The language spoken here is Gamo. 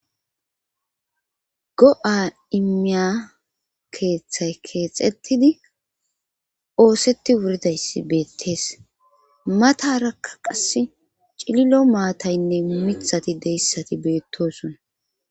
go7a immiya keeththay keexettidi oosetti wuridayssi beettees matarakka qass cililo maataynne mithati deyssati beettosona